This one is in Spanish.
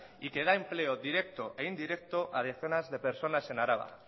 y que da empleo directo e indirecto a decenas de personas en araba